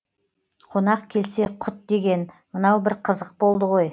қонақ келсе құт деген мынау бір қызық болды ғой